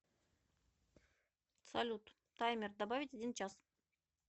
салют таймер добавить один час